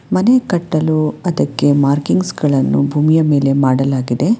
ಮನೆ ಕಟ್ಟಲು ಅದಕ್ಕೆ ಮಾರ್ಕಿಂಗ್ಸ್ ಗಳನ್ನು ಭೂಮಿಯ ಮೇಲೆ ಮಾಡಲಾಗಿದೆ.